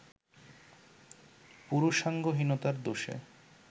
পুরুষাঙ্গহীনতার দোষে